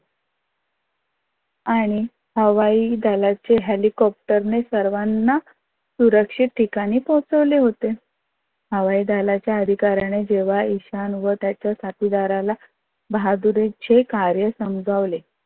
आणि हवाई दलाचे हेलिकाप्टर ने सर्वाना सुरक्षित ठिकानी पोहोचवले होते. हवाई दालाच्य अधिकार्याने जेव्हा ईशान वर त्याच्या साथीदाराला बहादुरीचे कार्य समजावले.